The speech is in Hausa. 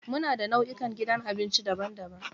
Muna da nau'ikan gidan abinci daban-daban.